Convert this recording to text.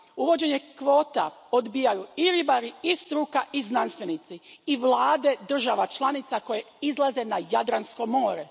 Uvođenje kvota odbijaju i ribari, i struka, i znanstvenici, i vlade država članica koje izlaze na Jadransko more.